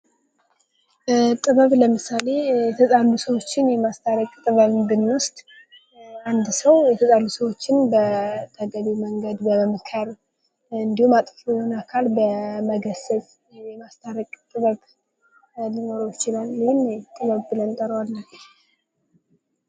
ጥበብ ለምሳሌ የተጣሉ ሰዎችን የማስታረቅ ጥበብን ብንወስድ፤ አንድ ሰው የተጣሉ ሰዎችን በተገቢው መንገድ በመምከር እንዲሁ፤ አጥፊውን አካል በመግለፅ የማስታረቅ ጥበብ ሊኖረው ይችላል። ይህን ጥበብ ብለን እንጠራዋለን።